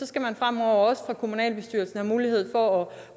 skal man fremover også fra kommunalbestyrelsen have mulighed for at